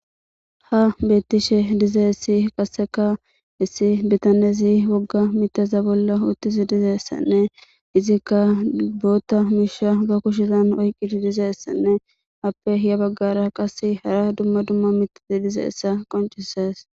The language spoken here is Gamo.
Ha beettishe dizeessi qasseka issi bitanezi wogga miteza bolla uottizi dizeessanne izikka boota miisha ba kushizan oyqqidi dizeessanne appe hiya baggara qase hara dumma dumma mitezi dizeessa qoncisees